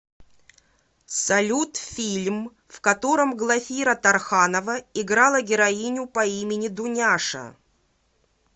салют фильм в котором глафира тарханова играла героиню по имени дуняша